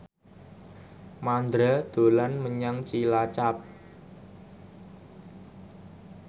Mandra dolan menyang Cilacap